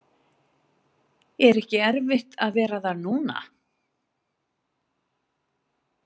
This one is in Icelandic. Er ekki erfitt að vera þar núna?